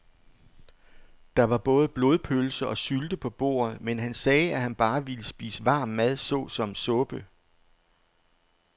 Der var både blodpølse og sylte på bordet, men han sagde, at han bare ville spise varm mad såsom suppe.